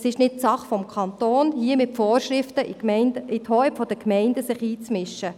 Es ist nicht Sache des Kantons, sich hier mit Vorschriften in die Hoheit der Gemeinden einzumischen.